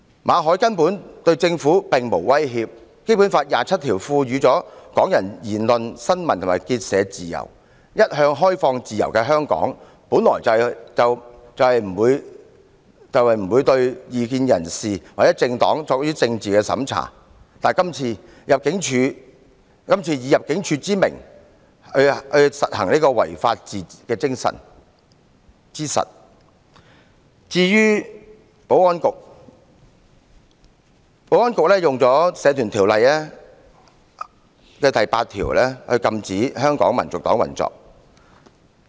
馬凱對政府根本並無威脅，《基本法》第二十七條賦予香港人言論、新聞和結社自由，一向開放自由的香港，本來不會對異見人士或政黨作政治審查，但今次以入境處的名義進行違法行為，而保安局又以《社團條例》第8條禁止香港民族黨運作。